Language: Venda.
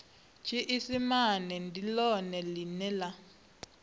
tshiisimane ndi ḽone ḽine ḽa